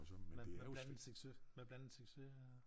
Med med blandet succes med blandet succes øh